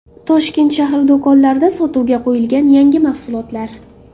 Toshkent shahri do‘konlarida sotuvga qo‘yilgan yangi mahsulotlar.